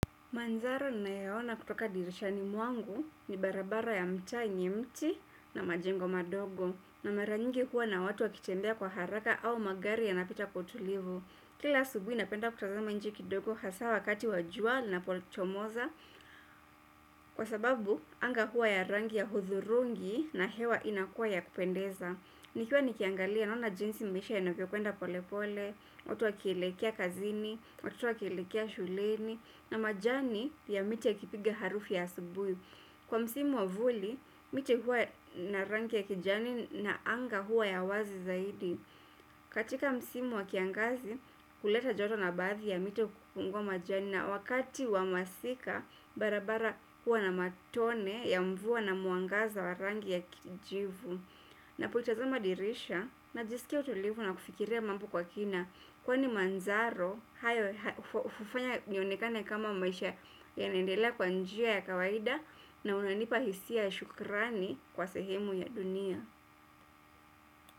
Mandharo ninayoyaona kutoka dirishani mwangu ni barabara ya mtaa yenye mti na majengo madogo na mara nyingi hua na watu wakitembea kwa haraka au magari yanapita kwa utulivu. Kila asubuhi napenda kutazama nje kidogo hasa wakati wa jua linapo chomoza. Kwa sababu, anga hua ya rangi ya hudhurungi na hewa inakua ya kupendeza. Nikiwa nikiangalia naona jinsi mbisha ya nabio kuenda pole pole, otua kilekea kazini, otua kilekea shuleni na majani ya miti ya kipiga harufu ya asubui kwa msimu wa vuli, miti hua na rangi ya kijani na anga hua ya wazi zaidi katika msimu wa kiangazi kuleta joto na baadhi ya mito kupungua majani na wakati wa masika barabara hua na matone ya mvua na mwangaza wa rangi ya kijivu. Napotazama dirisha najisikia utulivu na kufikiria mambo kwa kina kwani manzaro hufanya nionekane kama maisha yanaendelea kwa njia ya kawaida na unanipa hisia ya shukrani kwa sehemu ya dunia.